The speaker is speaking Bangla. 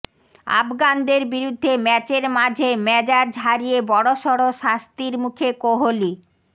আফগানদের বিরুদ্ধে ম্যাচের মাঝে মেজাজ হারিয়ে বড়সড় শাস্তির মুখে কোহলি